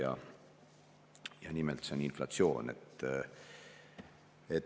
See on nimelt inflatsioon.